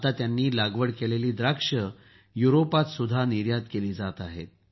आता त्यांनी लागवड केलेली द्राक्षं युरोपातही निर्यात केली जात आहेत